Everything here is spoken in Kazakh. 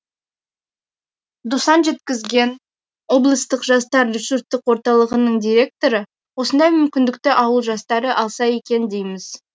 досан жеткізген облыстық жастар ресурстық орталығының директоры осындай мүмкіндікті ауыл жастары алса екен дейміз